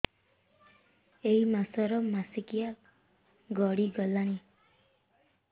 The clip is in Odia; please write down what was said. ଏଇ ମାସ ର ମାସିକିଆ ଗଡି ଗଲାଣି